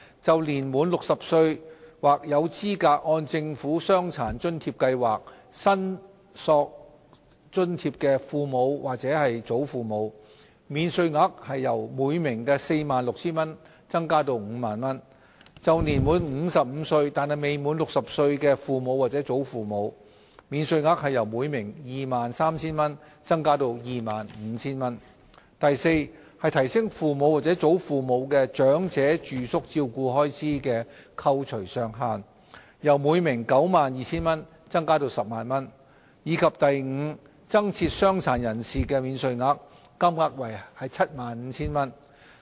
就年滿60歲或有資格按政府傷殘津貼計劃申索津貼的父母或祖父母，免稅額由每名 46,000 元增至 50,000 元；就年滿55歲但未滿60歲的父母或祖父母，免稅額由每名 23,000 元增至 25,000 元； d 提升父母或祖父母的長者住宿照顧開支的扣除上限，由每名 92,000 元增加至 100,000 元；及 e 增設傷殘人士免稅額，金額為 75,000 元。